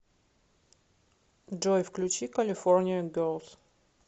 джой включи калифорния герлс